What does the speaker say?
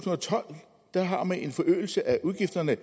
og tolv har man en forøgelse af udgifterne